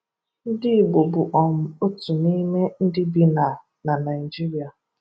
Ndị Igbo bụ um otu n’ime ndị bi na na Nigeria.